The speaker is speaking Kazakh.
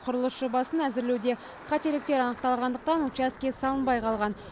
құрылыс жобасын әзірлеуде қателіктер анықталғандықтан учаске салынбай қалған